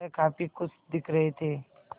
वह काफ़ी खुश दिख रहे थे